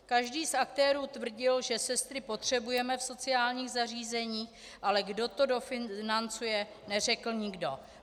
Každý z aktérů tvrdil, že sestry potřebujeme v sociálních zařízeních, ale kdo to dofinancuje, neřekl nikdo.